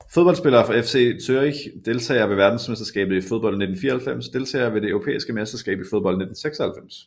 Fodboldspillere fra FC Zürich Deltagere ved verdensmesterskabet i fodbold 1994 Deltagere ved det europæiske mesterskab i fodbold 1996